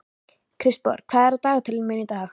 Kristborg, hvað er á dagatalinu í dag?